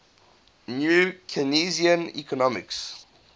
new keynesian economics